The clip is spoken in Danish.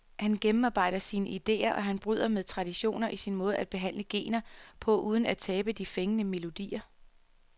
Han gennemarbejder sine idéer, og han bryder med traditioner i sin måde at blande genrer på uden at tabe de fængende melodier.